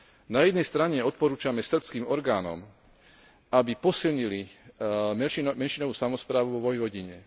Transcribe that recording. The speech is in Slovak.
Na jednej strane odporúčame srbským orgánom, aby posilnili menšinovú samosprávu vo Vojvodine.